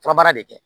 Furabara de kɛ